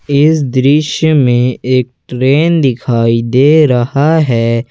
इस दृश्य में एक ट्रेन दिखाई दे रहा है।